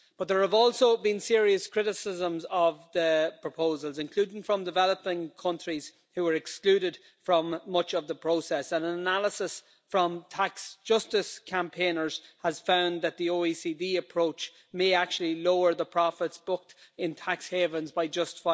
But there have also been serious criticisms of the proposals, including from developing countries, who are excluded from much of the process, and analysis from tax justice campaigners has found that the OECD approach may actually lower the profits booked in tax havens by just